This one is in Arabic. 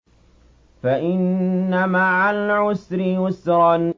فَإِنَّ مَعَ الْعُسْرِ يُسْرًا